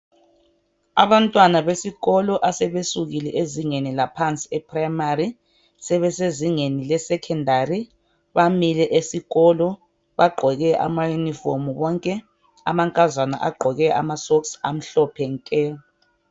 Abantwana besikolo asebesukile ezingeni laphansi primary sebesezingeni lasesekhondari bamile ngaphadle bagqoke amayunifomu bonke, amankazana agqoke ama socks amhlophe nke.